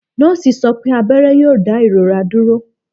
Nọọsi sọ pe abẹrẹ yoo da irora duro.